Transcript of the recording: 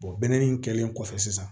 in kɛlen kɔfɛ sisan